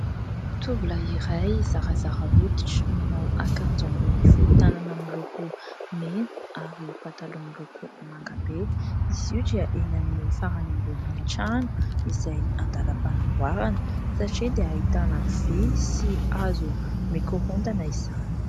Tovolahy iray zarazara hoditra, manao akanjo ambony fohy tanana miloko mena ary pataloha miloko manga be. Izy io dia eny amin'ny farany ambonin'ny trano izay an-dalam-panamboarana satria dia ahitana vy sy hazo mikorontana izany.